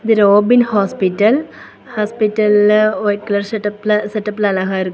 இது Robin hospital ஹாஸ்பிடல்ல white colour செட் அப்ல செட் அப்ல அழகா இருக்--